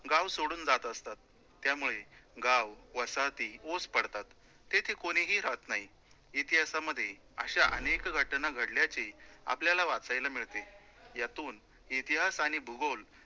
गाव सोडून जातं असतात. त्यामुळे गाव, वसाहती ओस पडतात, तेथे कोणीही रहात नाही. इतिहासामध्ये अश्या अनेक घटना घडल्याची आपल्याला वाचायला मिळते, यातून इतिहास आणि भूगोल